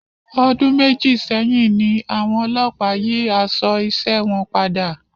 Ọdún méjì sẹyìn ní àwọn olópàá yí aṣọ isé wọn padà